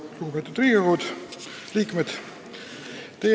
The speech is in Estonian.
Lugupeetud Riigikogu liikmed!